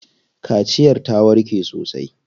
Kaciyar ta warke sosai.